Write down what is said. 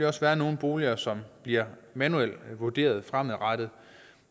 også være nogle boliger som bliver manuelt vurderet fremadrettet